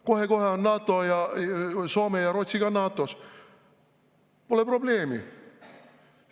Kohe-kohe on Soome ja Rootsi ka NATO-s, pole probleemi.